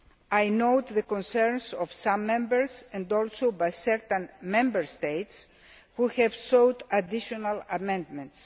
I note the concerns of some Members and also by certain Member States who have sought additional amendments.